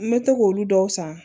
N bɛ to k'olu dɔw san